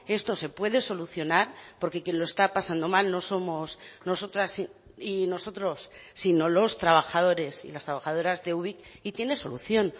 esto se puede solucionar porque quien lo está pasando mal no somos nosotras y nosotros sino los trabajadores y las trabajadoras de ubik y tiene solución